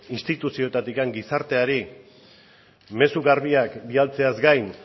instituzioetatik gizarteari mezu garbiak bidaltzeaz gain